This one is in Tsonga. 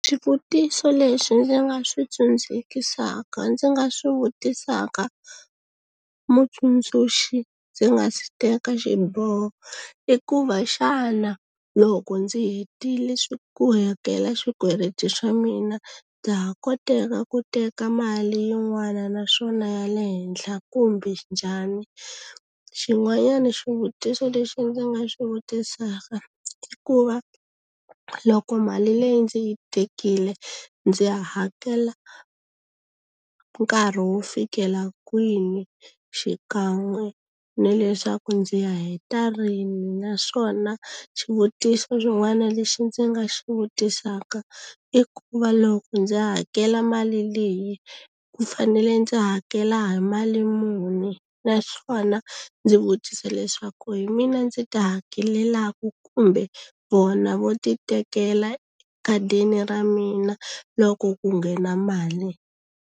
Swivutiso leswi ndzi nga swi tsandzekisaka ndzi nga swi vutisaka mutsundzuxi ndzi nga si teka xiboho i ku va xana loko ndzi hetile swi ku hakela swikweleti swa mina ndza ha koteka ku teka mali yin'wana naswona ya le henhla kumbe njhani xin'wanyana xivutiso lexi ndzi nga xi vutisaka i ku va loko mali leyi ndzi yi tekile ndzi hakela nkarhi wo fikela kwini xikan'we ni leswaku ndzi ya heta rimi naswona xivutiso xin'wana lexi ndzi nga xi vutisaka i ku va loko ndzi hakela mali leyi ku fanele ndzi hakela hi mali muni naswona ndzi vutisa leswaku hi mina ndzi ti hakelelaka kumbe vona vo ti tekela ekhadini ra mina loko ku nghena mali.